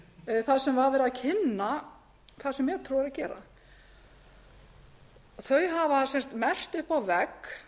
sem verið var að kynna það sem metró er að gera þau hafa merkt upp á vegg